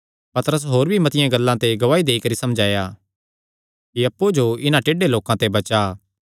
पतरस होर भी मतिआं गल्लां ते गवाही देई करी समझाया कि अप्पु जो इन्हां टेढ़े लोकां ते बचा